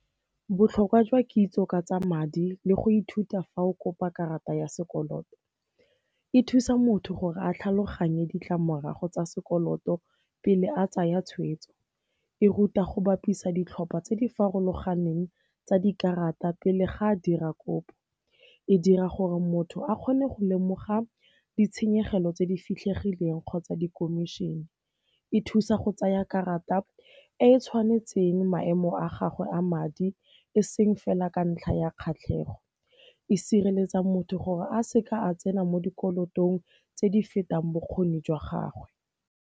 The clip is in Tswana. Botlhokwa jwa kitso ka tsa madi le go ithuta fa o kopa karata ya sekoloto, e thusa motho gore a tlhaloganye ditlamorago tsa sekoloto pele a tsaya tshweetso. E ruta go bapisa ditlhopha tse di farologaneng tsa dikarata pele ga a dira kopo. E dira gore motho a kgone go lemoga ditshenyegelo tse di fitlhegileng kgotsa dikomišene. E thusa go tsaya karata e e tshwanetseng maemo a gagwe a madi e seng fela ka ntlha ya kgatlhego. E sireletsa motho gore a seka a tsena mo dikolotong tse di fetang bokgoni jwa gagwe.